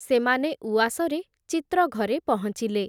ସେମାନେ ଉଆସରେ ଚିତ୍ରଘରେ ପହଞ୍ଚିଲେ ।